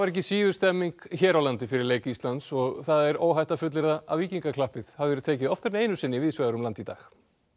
ekki síður stemning hér á landi fyrir leik Íslands og það er óhætt að fullyrða að víkingaklappið hafi verið tekið oftar en einu sinni víðsvegar um landið í dag